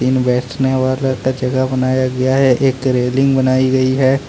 तीन बैठने वाला का जगह बनाया गया है एक रेलिंग बनाई गई है।